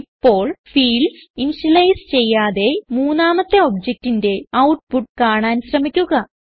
ഇപ്പോൾ fields initialise ചെയ്യാതെ മൂന്നാമത്തെ objectന്റെ ഔട്ട്പുട്ട് കാണാൻ ശ്രമിക്കുക